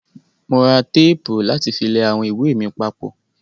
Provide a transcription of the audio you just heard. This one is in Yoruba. Mo ra tẹ́pù láti fi lẹ àwọn ìwé mi papọ̀.